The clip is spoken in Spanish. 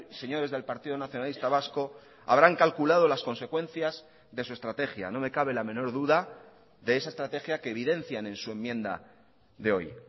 señores del partido nacionalista vasco habrán calculado las consecuencias de su estrategia no me cabe la menor duda de esa estrategia que evidencian en su enmienda de hoy